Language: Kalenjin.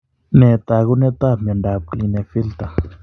Nee taakunetaab myondap Klinefelter?